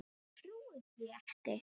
Ég trúi því ekki!